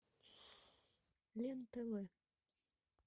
лен тв